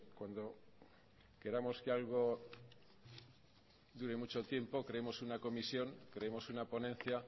cuando queramos que algo dure mucho tiempo creemos una comisión creemos una ponencia